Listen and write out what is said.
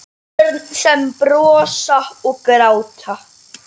Börn sem brosa og gráta.